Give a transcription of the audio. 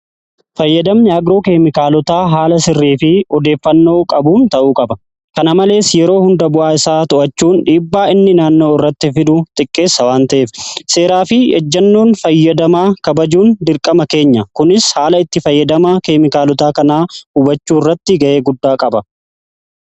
Fayyadamni agroo keemikaalotaa haala sirrii fi odeeffannoo qabuun ta'uu qaba. Kana malees yeroo hunda bu'aa isaa to'achuun dhiibbaa inni naannoo irratti fidu xiqqeessa waan ta'ef seeraa fi ejjannoon fayyadamaa kabajuun dirqama keenya. Kunis haala itti fayyadama keemikaalotaa kanaa hubachuu irratti ga'ee guddaa qaba.